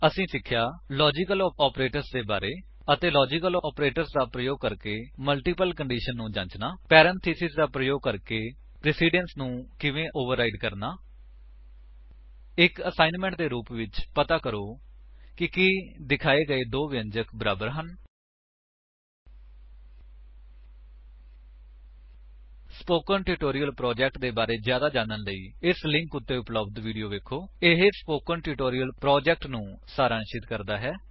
ਅਸੀਂ ਸਿੱਖਿਆ logical operators ਦੇ ਬਾਰੇ ਅਤੇ ਲਾਜਿਕਲ ਆਪਰੇਟਰਸ ਦਾ ਪ੍ਰਯੋਗ ਕਰਕੇ ਮਲਟੀਪਲ ਏਕਸਪ੍ਰੇਸ਼ੰਸ ਨੂੰ ਜਾਂਚਣਾ 160 ਪਰੇੰਥੇਸਿਸ ਦਾ ਪ੍ਰਯੋਗ ਕਰਕੇ ਪ੍ਰੇਸਿਡੰਸ ਨੂੰ ਕਿਵੇਂ ਓਵਰਰਾਇਡ ਕਰਨਾ ਇੱਕ ਅਸਾਇਨਮੈਂਟ ਦੇ ਰੁਪ ਵਿੱਚ ਪਤਾ ਕਰੋ ਕਿ ਕੀ ਦਿਖਾਏ ਗਏ ਦੋ ਵਿਅੰਜਕ ਬਰਾਬਰ ਹਨ160 ਸਪੋਕਨ ਟਿਊਟੋਰਿਅਲ ਪ੍ਰੋਜੇਕਟ ਦੇ ਬਾਰੇ ਵਿੱਚ ਜਿਆਦਾ ਜਾਣਨ ਦੇ ਲਈ ਇਸ ਲਿੰਕ ਉੱਤੇ ਉਪਲੱਬਧ ਵੀਡੀਓ ਵੇਖੋ ਇਹ ਸਪੋਕਨ ਟਿਊਟੋਰਿਅਲ ਪ੍ਰੋਜੇਕਟ ਨੂੰ ਸਾਰਾਂਸ਼ਿਤ ਕਰਦਾ ਹੈ